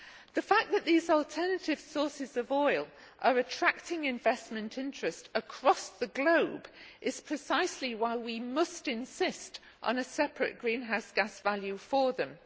The fact that these alternative sources of oil are attracting investment interest across the globe is precisely why we must insist on a separate greenhouse gas value for them.